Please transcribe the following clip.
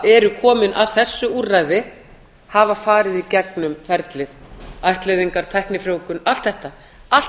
eru komnir að þessu úrræði hafa farið í gegnum ferlið ættleiðingar tæknifrjóvgun allt þetta allt